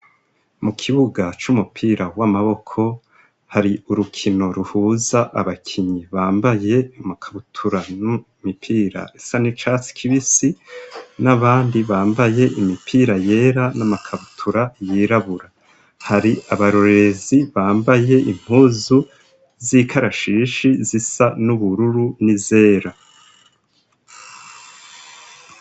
Mu kibuga c'umupira w'amaboko hari urukino ruhuza abakinyi bambaye amakabutura n'imipira isa n'icatsi kibisi, n'abandi bambaye imipira yera n'amakabutura yirabura. Hari abarorerezi bambaye impuzu z'ikarashishi zisa n'ubururu n'izera.